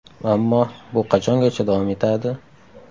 Ammo bu qachongacha davom etadi?